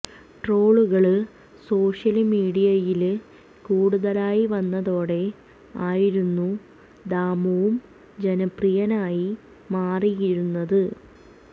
ട്രോളുകള് social മീഡിയയില് കൂടുതലായി വന്നതോടെ ആയിരുന്നു ദാമുവും ജനപ്രിയനായി മാറിയിരുന്നത്